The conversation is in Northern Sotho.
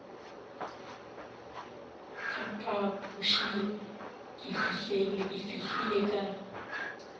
ka phapošeng ke fihlile ka